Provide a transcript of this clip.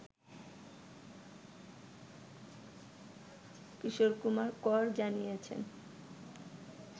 কিশোর কুমার কর জানিয়েছেন